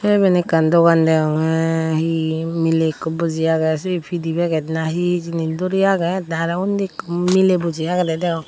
te iben ekkan dogan degonge he miley ekko buji agey siye pidey peget na he agey duri agey te arow unni ekko miley buji agey degonge.